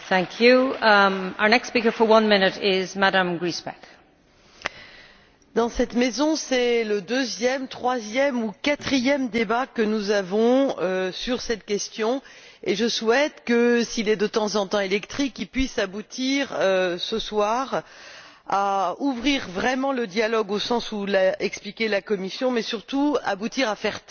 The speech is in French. Madame la Présidente, dans cette maison, c'est le deuxième, troisième ou quatrième débat que nous avons sur cette question et je souhaite, s'il est de temps en temps électrique, qu'il puisse aboutir ce soir à ouvrir vraiment le dialogue, au sens où l'a expliqué la Commission, et qu'il puisse surtout aboutir à faire taire les inquiétudes qui se font jour